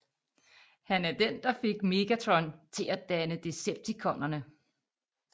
Han er den der fik Megatron til at danne Decepticonerne